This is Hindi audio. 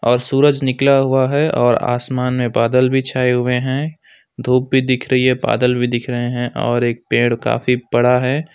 और सूरज निकला हुआ है और आसमान में बादल भी छाए हुए हैं धूप भी दिख रही है बादल भी दिख रहे हैं और एक पेड़ काफी बड़ा है।